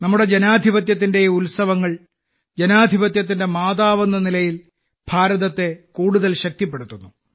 നമ്മുടെ ജനാധിപത്യത്തിന്റെ ഈ ഉത്സവങ്ങൾ ജനാധിപത്യത്തിന്റെ മാതാവെന്ന നിലയിൽ ഭാരതത്തെ കൂടുതൽ ശക്തിപ്പെടുത്തുന്നു